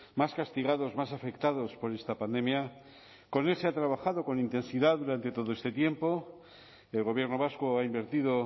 más castigados más afectados por esta pandemia con él se ha trabajado con intensidad durante todo este tiempo el gobierno vasco ha invertido